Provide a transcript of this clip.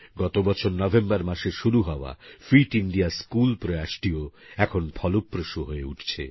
গত বছর নভেম্বর মাসে শুরু হওয়া ফিট ইন্ডিয়া স্কুল প্রয়াসটিও এখন ফলপ্রসূ হয়ে উঠছে